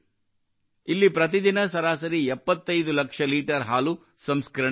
ಇಲ್ಲಿ ಪ್ರತಿದಿನ ಸರಾಸರಿ 75 ಲಕ್ಷ ಲೀಟರ್ ಹಾಲು ಸಂಸ್ಕರಣೆಯಾಗುತ್ತದೆ